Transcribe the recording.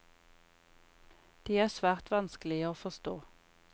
De er svært vanskelige å forstå.